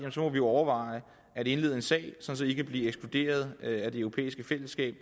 må vi overveje at indlede en sag sådan at i kan blive ekskluderet af det europæiske fællesskab